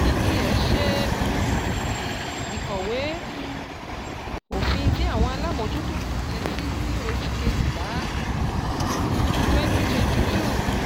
NGX ṣe um ìkọ̀wé um òfin tí àwọn alamojuto f'asẹ sí ní oṣù kejìlá um 2022.